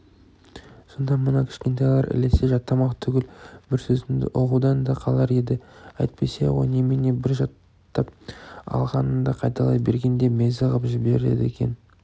сонда мына кішкентайлар ілесе жаттамақ түгілі бір сөзімді ұғудан да қалар еді әйтпесе ғой немене бір жаттап алғаныңды қайталай берген де мезі ғып жібереді екен